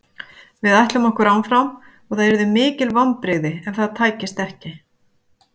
Við ætlum okkur áfram og það yrðu mikil vonbrigði ef það tækist ekki.